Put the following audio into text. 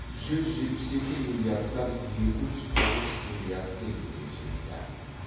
жүз жетпіс екі миллиардтан екі жүз тоғыз миллиард теңгеге жетті